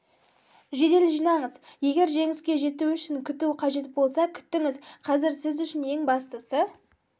жедел жинаңыз егер жеңіске жету үшін күту қажет болса күтіңіз қазір сіз үшін ең бастысы